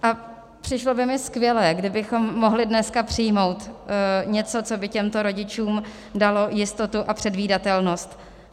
A přišlo by mi skvělé, kdybychom mohli dneska přijmout něco, co by těmto rodičům dalo jistotu a předvídatelnost.